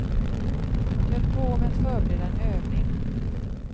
De höll på med att förbereda en övning.